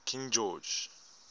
king george